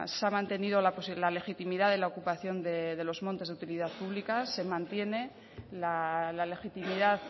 se ha mantenido la legitimidad de la ocupación de los montes de utilidad pública se mantiene la legitimidad